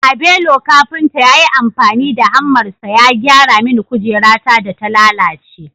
Abelo kafinta ya yi amfani da hammarsa ya gyara mini kujerata da ta lalace